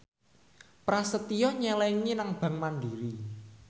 Prasetyo nyelengi nang bank mandiri